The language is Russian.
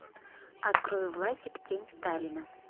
открой власик тень сталина